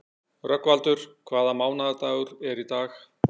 Rögnvaldur, hvaða mánaðardagur er í dag?